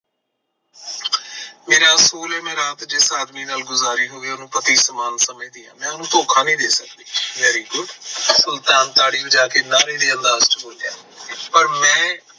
ਮੇਰਾ ਅਸੂਲ ਐ ਮੈਂ ਰਾਤ ਜਿਸ ਆਦਮੀ ਨਾਲ ਗੁਜ਼ਾਰੀ ਹੋਵੇ ਉਹਨੂੰ ਪਤੀ ਸਮਾਨ ਸੱਮਝਦੀ ਹਾਂ ਮੈਂ ਉਹਨੂੰ ਧੋਖਾ ਨਹੀਂ ਦੇ ਸਕਦੀ very good ਸੁਲਤਾਨ ਤਾੜੀ ਵਜਾ ਕੇ ਪਰ ਮੈਂ